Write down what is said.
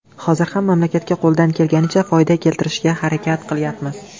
Hozir ham mamlakatga qo‘ldan kelganicha foyda keltirishga harakat qilyapmiz.